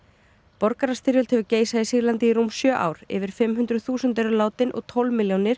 borgarastyrjöld hefur geisað í Sýrlandi í rúm sjö ár yfir fimm hundruð þúsund þúsund eru látin og tólf